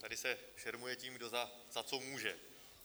Tady se šermuje tím, kdo za co může.